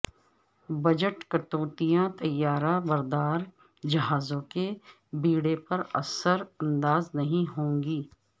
budget کٹوتیاں طیارہ بردار جہازوں کے بیڑے پر اثر انداز نہیں ہوں گی